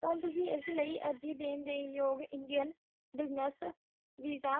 ਪਰ ਤੁਸੀ ਇਸ ਲਾਇ ਅਰਜੀ ਦਾਨ ਡੇ ਯੋਗ ਇੰਡਿਯਨ ਬਜ਼ਸ ਵੀਸਾ